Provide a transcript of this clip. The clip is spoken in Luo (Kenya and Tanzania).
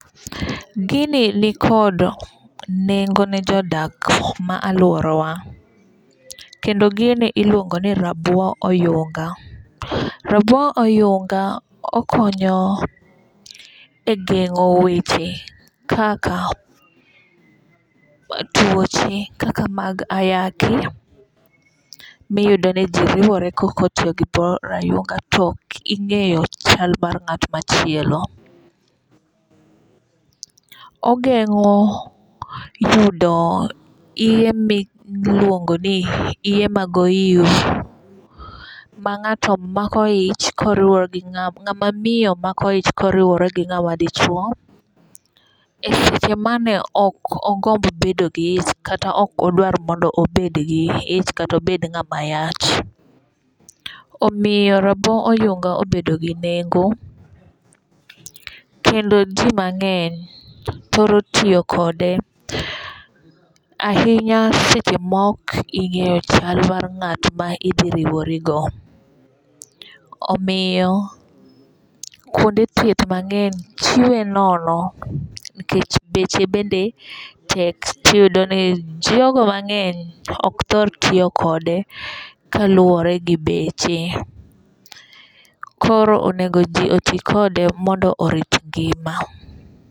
Gini nikod nengo ne jodak ma aluora wa kendo gini iluongo ni rabo oyunga. Rabo oyunga okonyo e gengo weche kaka tuoche kaka mag ayaki miyudo ni ji riwore kok otiyo gi rabo oyunga to ok ing'eyo chal mar ng'at machielo. Ogeng'o yudo iye miluongo ni iye mag oyus ma ng'ato mako ich koriwore gi ng'ama miyo mako ich koriwore gi ng'ama dichuo e seche mane ok ogomb bedo gi ich kata ok odwar mondo obed gi ich kata obed ng'ama yach. Omiyo rabo oyunga obedo gi nengo kendo ji mang'eny thoro tiyo kode ahinya seche ma ok ing/'eyo chal mar ng'at ma idhi riwori go. Omiyo kuonde thieth mang'eny chiwe nono nikech beche bende tek tiyudo ni jogo mang'eny ok thor tiyokode kaluwore gi beche. Koro onengo ji oti kode mondo orit ngima.